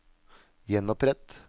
gjenopprett